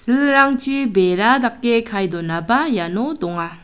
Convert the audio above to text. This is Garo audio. bera dake kae donaba iano donga.